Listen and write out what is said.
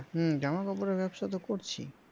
হম জামা কাপড়ের ব্যবসা তো করছি